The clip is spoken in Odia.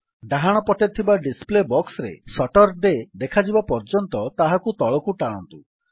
ଡାହାଣ ପଟେ ଥିବା ଡିସପ୍ଲେ ବକ୍ସରେ ସାତୁରଡେ ଦେଖାଯିବା ପର୍ଯ୍ୟନ୍ତ ତାହାକୁ ତଳକୁ ଟାଣନ୍ତୁ